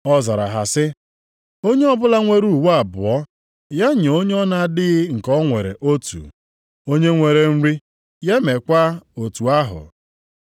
Ọ zara ha sị, “Onye ọbụla nwere uwe abụọ, ya nye onye ọ na-adịghị nke o nwere otu. Onye nwere nri ya meekwa otu ahụ.”